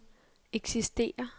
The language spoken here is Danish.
eksisterer